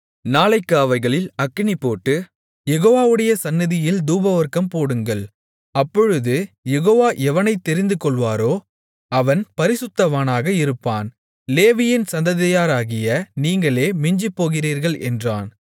நாளைக்கு அவைகளில் அக்கினி போட்டு யெகோவாவுடைய சந்நிதியில் தூபவர்க்கம் போடுங்கள் அப்பொழுது யெகோவா எவனைத் தெரிந்துகொள்வாரோ அவன் பரிசுத்தவானாக இருப்பான் லேவியின் சந்ததியாராகிய நீங்களே மிஞ்சிப்போகிறீர்கள் என்றான்